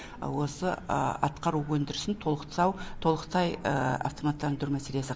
осы атқару өндірісін толықтай автоматтандыру мәселесі